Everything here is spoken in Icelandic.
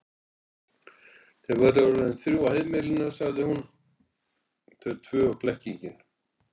Þau væru nú orðin þrjú í heimili, sagði hún, þau tvö og blekkingin.